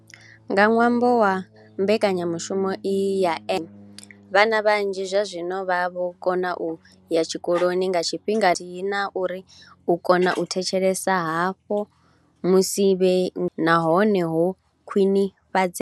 Nga ṅwambo wa mbekanyamushumo iyi ya NSNP, vhana vhanzhi zwazwino vha vho kona u ya tshikoloni nga tshifhinga nahone misi yoṱhe khathihi na uri u kona u thetshelesa havho musi vhe ngomu kiḽasini na hone ho khwinifhadzea.